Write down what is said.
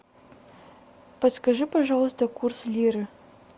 подскажи пожалуйста курс лиры